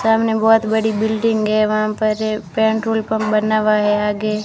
सामने बहोत बड़ी बिल्डिंग है वहां पर ये पेंट्रोल पंप बना हुआ है आगे--